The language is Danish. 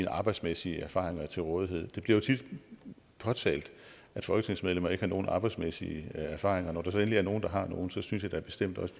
arbejdsmæssige erfaringer til rådighed det bliver jo tit påtalt at folketingsmedlemmer ikke har nogen arbejdsmæssige erfaringer og hvis der så endelig er nogen der har nogen så synes jeg da bestemt også